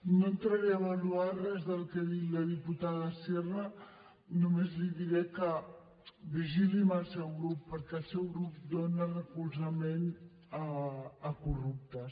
no entraré a avaluar res del que ha dit la diputada sierra només li diré que vigili amb el seu grup perquè el seu grup dona recolzament a corruptes